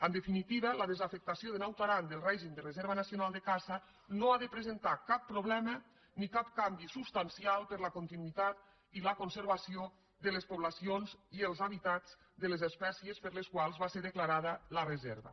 en definitiva la desafectació de naut aran del règim de reserva nacional de caça no ha de presentar cap problema ni cap canvi substancial per a la continuïtat i la conservació de les poblacions i els hàbitats de les espècies per a les quals va ser declarada la reserva